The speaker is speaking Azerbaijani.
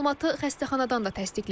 Məlumatı xəstəxanadan da təsdiqlədilər.